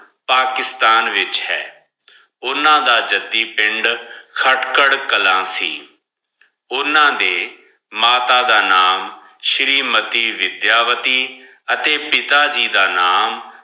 ਪਾਕਿਸਤਾਨ ਵਿਚ ਹੈ ਓਨਾ ਦਾ ਜੱਦੀ ਪਿੰਡ ਖਟ੍ਕਰ ਕਲਾਂ ਸੀ ਓਨਾ ਦੇ ਮਾਤਾ ਦਾ ਨਾਮ ਸ਼ੀਰੀ ਮਤੀ ਵਿਦ੍ਯਾ ਵਤੀ ਅਤੇ ਪਿਤਾ ਜੀ ਦਾ ਨਾਮ।